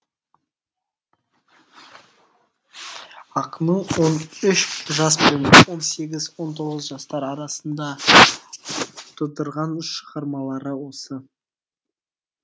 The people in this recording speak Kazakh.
ақынның он үш жас пен он сегіз он тоғыз жастар арасында тудырған шығармалары осы